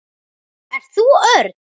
Ert þú Örn?